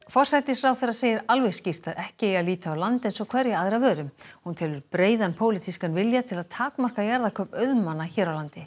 forsætisráðherra segir alveg skýrt að ekki eigi að líta á land eins og hverja aðra vöru hún telur breiðan pólitískan vilja til að takmarka jarðakaup auðmanna hér á landi